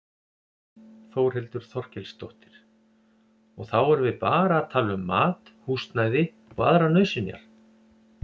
Þórhildur Þorkelsdóttir: Og þá erum við bara að tala um mat, húsnæði og aðrar nauðsynjar?